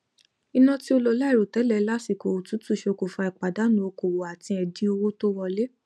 iná tí ó lọ láìròtẹlẹ lásìkò òtútù ṣokùnfà ìpàdánù okòwò àti ẹdín owó tó wọlé